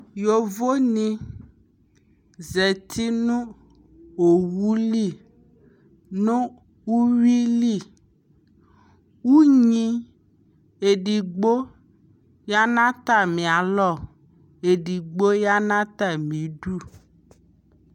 yɔvɔ ni zati nʋ ɔwʋli nʋ ʋwili, ʋnyi ɛdigbɔ yanʋ atami alɔ, ɛdigbɔ yanʋ atami idʋ